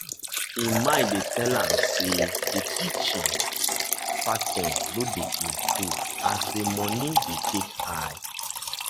im mind dey tell am say the teaching pattern no dey improve as the money take dey high